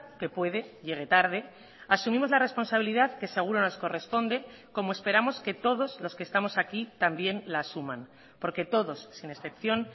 que puede llegue tarde asumimos la responsabilidad que seguro nos corresponde como esperamos que todos los que estamos aquí también la asuman porque todos sin excepción